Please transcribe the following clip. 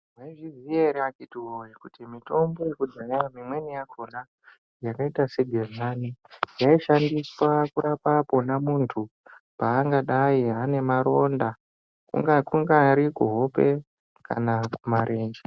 Mwaizviziya ere akitiwoye kuti mitombo yekudhaya imweni yakona yakaita segedhlani yaishandiswa pona muntu paanenge ane maronda kungari kuhope kana kumarenje.